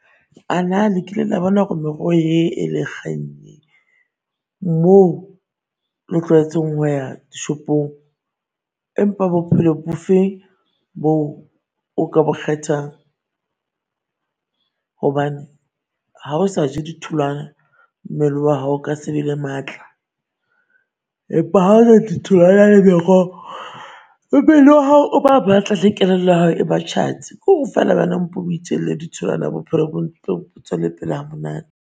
Anaa le kile la bona hore meroho ye e le e kgang ye moo le tlwaetseng ho ya shopong. Empa bophelo bo feng bo o ka bo kgethang? Hobane ha o sa je ditholwana mmele wa hao o ka sebe le matla. Empa ha o ja ditholwana le meroho le mmele wa hao o ba matla le kelello ya hao e ba tjhatsi. Kore feela wena o mpo o ijele ditholwana bophelo bo tswele pele ha monate.